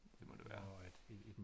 Det må det være